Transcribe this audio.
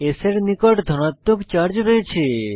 S এর নিকট ধনাত্মক চার্জ রয়েছে